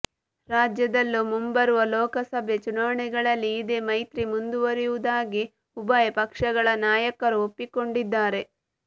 ರಾಜ್ಯದಲ್ಲೂ ಮುಂಬರುವ ಲೋಕಸಭೆ ಚುನಾವಣೆಗಳಲ್ಲಿ ಇದೇ ಮೈತ್ರಿ ಮುಂದುವರಿಯುವುದಾಗಿ ಉಭಯ ಪಕ್ಷಗಳ ನಾಯಕರೂ ಒಪ್ಪಿಕೊಂಡಿದ್ದಾರೆ